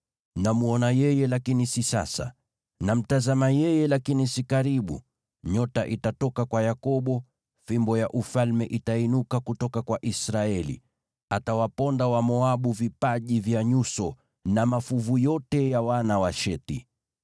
“Namwona yeye, lakini si sasa; namtazama yeye, lakini si karibu. Nyota itatoka kwa Yakobo, fimbo ya ufalme itainuka kutoka kwa Israeli. Atawaponda Wamoabu vipaji vya nyuso na mafuvu yote ya wana wa Shethi.